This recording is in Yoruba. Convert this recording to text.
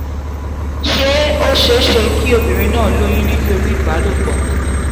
ṣé ó ṣeé ṣe kí obìnrin náà lóyún nítorí ìbálòpọ̀?